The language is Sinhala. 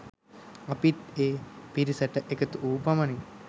අපිත් ඒ පිරිසට එකතු වූ පමණින්